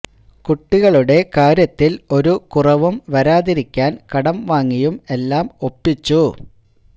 കുട്ടികളുടെ കാര്യത്തില് ഒരു കുറവും വരാതിരിക്കാന് കടം വാങ്ങിയും എല്ലാം ഒപ്പിച്ചു